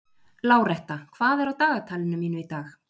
Láretta, hvað er á dagatalinu mínu í dag?